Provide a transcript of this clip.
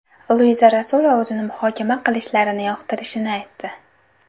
Luiza Rasulova o‘zini muhokama qilishlarini yoqtirishini aytdi.